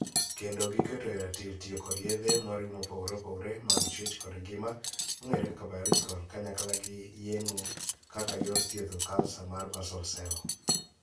Kendo giketo e ratil tiyo kod yedhe moriw mopogore opogore mag chuech kod ngima ('biological) kanyakla gi yeng'o kaka yor thiedho kansa mar 'basal cell'.